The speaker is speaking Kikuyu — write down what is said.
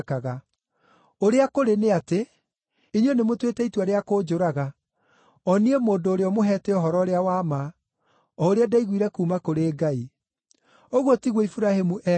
Ũrĩa kũrĩ nĩ atĩ, inyuĩ nĩmũtuĩte itua rĩa kũnjũraga, o niĩ mũndũ ũrĩa ũmũheete ũhoro ũrĩa wa ma, o ũrĩa ndaiguire kuuma kũrĩ Ngai. Ũguo tiguo Iburahĩmu eekaga.